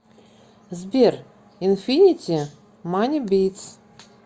сбер инфинити мани битс